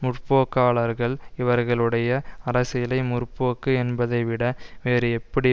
முற்போக்காளர்கள் இவர்களுடைய அரசியலை முற்போக்கு என்பதைவிட வேறு எப்படி